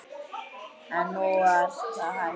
En nú var það hætt.